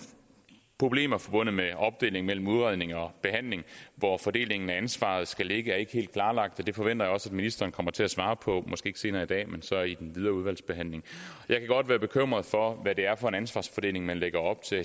problemer forbundet med opdelingen mellem udredning og behandling hvor fordelingen af ansvaret skal ligge er ikke helt klarlagt og det forventer jeg også at ministeren kommer til at svare på måske ikke senere i dag men så i den videre udvalgsbehandling jeg kan godt være bekymret for hvad det er for en ansvarsfordeling man lægger op til